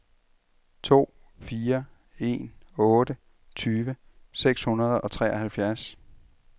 to fire en otte tyve seks hundrede og treoghalvfjerds